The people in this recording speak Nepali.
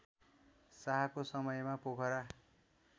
शाहको समयमा पोखरा